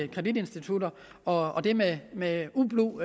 kreditinstitutter og det med med ublu